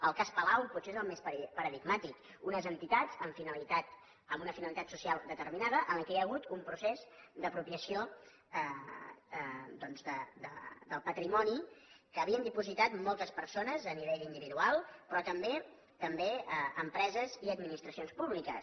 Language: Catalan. el cas palau potser és el més paradigmàtic unes entitats amb una finalitat social determinada en què hi ha hagut un procés d’apropiació doncs del patrimoni que hi havien dipositat moltes persones a nivell individual però també també empreses i administracions públiques